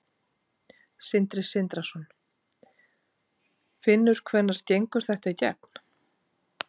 Sindri Sindrason: Finnur hvenær gengur þetta í gegn?